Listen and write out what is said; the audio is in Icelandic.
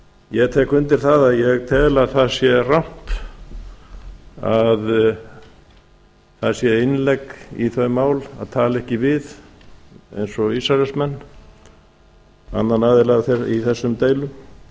ég tek undir það að ég tel að það sé rangt að það sé innlegg í þau mál að tala ekki við eins og ísraelsmenn annan aðila í þessum deilum ég tel